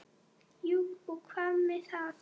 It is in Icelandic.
Jú og hvað með það!